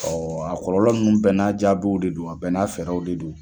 A kɔlɔlɔ ninnu bɛɛ n'a jaabiw de don, a bɛɛ n'a fɛɛrɛw de don.